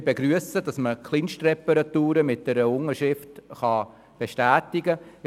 Wir begrüssen, dass man Kleinstreparaturen mit einer Unterschrift bestätigen kann.